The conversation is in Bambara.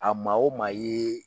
A maa o maa ye